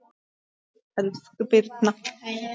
Elsku Birna